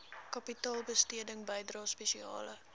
kapitaalbesteding bydrae spesiale